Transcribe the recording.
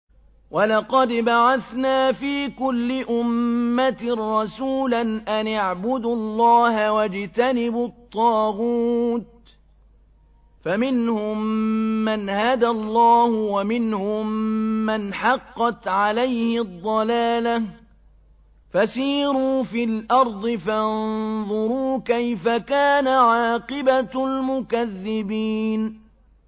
وَلَقَدْ بَعَثْنَا فِي كُلِّ أُمَّةٍ رَّسُولًا أَنِ اعْبُدُوا اللَّهَ وَاجْتَنِبُوا الطَّاغُوتَ ۖ فَمِنْهُم مَّنْ هَدَى اللَّهُ وَمِنْهُم مَّنْ حَقَّتْ عَلَيْهِ الضَّلَالَةُ ۚ فَسِيرُوا فِي الْأَرْضِ فَانظُرُوا كَيْفَ كَانَ عَاقِبَةُ الْمُكَذِّبِينَ